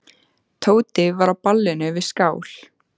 Tóti var á ballinu við skál.